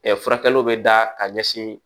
furakɛliw bɛ da ka ɲɛsin